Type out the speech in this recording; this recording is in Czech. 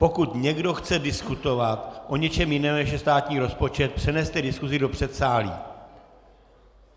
Pokud někdo chce diskutovat o něčem jiném, než je státní rozpočet, přeneste diskusi do předsálí.